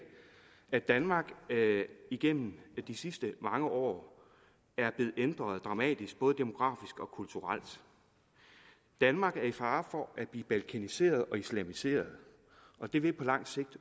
at danmark igennem de sidste mange år er blevet ændret dramatisk både demografisk og kulturelt danmark er i fare for at blive balkaniseret og islamiseret og det vil på lang sigt